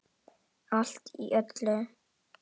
Allt í öllu.